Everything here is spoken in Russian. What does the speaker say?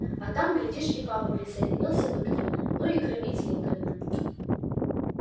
а там глядишь и папа присоединился бы к ним и ну громить линкольна